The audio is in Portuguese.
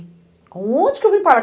Aonde que eu vim parar?